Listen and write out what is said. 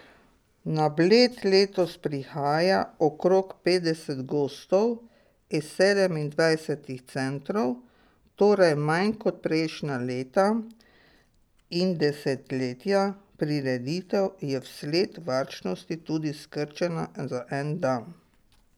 Na Bled letos prihaja okrog petdeset gostov iz sedemindvajsetih centrov, torej manj kot prejšnja leta in desetletja, prireditev je vsled varčnosti tudi skrčena za en dan.